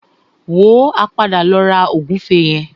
Wò ó, a padà lọ ra ògúnfe yẹn.